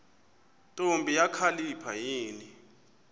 ntombi kakhalipha yini